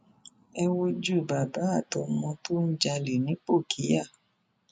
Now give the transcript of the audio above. ẹ wojú bàbá àtọmọ tó ń jalè nipòkíà